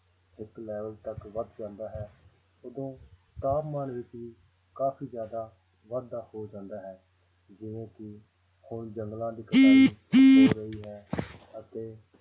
ਇੱਕ ਲੈਵਲ ਤੱਕ ਵੱਧ ਜਾਂਦਾ ਹੈ ਉਦੋਂ ਤਾਪਮਾਨ ਵਿੱਚ ਵੀ ਕਾਫ਼ੀ ਜ਼ਿਆਦਾ ਵਾਧਾ ਹੋ ਜਾਂਦਾ ਹੈ ਜਿਵੇਂ ਕਿ ਹੁਣ ਜੰਗਲਾਂ ਦੀ ਹੋ ਰਹੀ ਹੈ ਅਤੇ